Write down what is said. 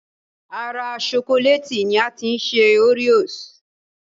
Ara ṣokolẹ́ẹ̀tì ni a ti ṣe oreos